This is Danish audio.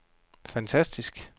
fantastisk